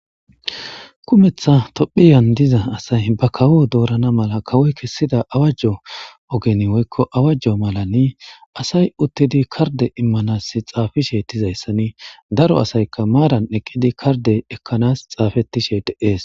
Kumeththa toophphiyan diza asay kawo dorana awajo ogen woykko malan asay utidi kardde imanas xafishe dizaysani daro asaykka karde ekanas xafetishe de'es .